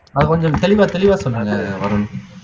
அது கொஞ்சம் தெளிவா தெளிவா சொல்லுங்க வருண்